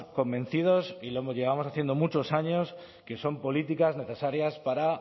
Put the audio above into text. convencidos y lo llevamos haciendo muchos años que son políticas necesarias para